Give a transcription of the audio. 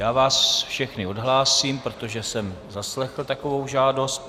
Já vás všechny odhlásím, protože jsem zaslechl takovou žádost.